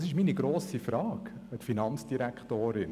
Das ist meine grosse Frage an die Finanzdirektorin: